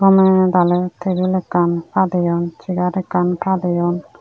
gome dale tebil ekkan padeyon segar ekkan padeyon.